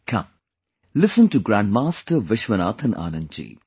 Come, listen to Grandmaster Vishwanathan Anand ji